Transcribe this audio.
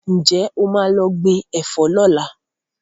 Ǹjẹ́ o máa lọ gbìn Ẹ̀fọ́ ni ọ̀la?